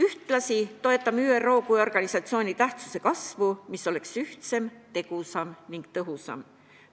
Ühtlasi toetame ÜRO kui organisatsiooni tähtsuse kasvu, et see oleks ühtsem, tegusam ning tõhusam.